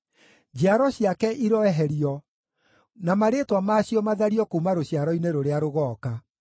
Njiaro ciake iroeherio, na marĩĩtwa maacio mathario kuuma rũciaro-inĩ rũrĩa rũgooka.